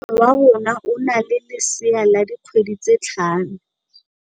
Moagisane wa rona o na le lesea la dikgwedi tse tlhano.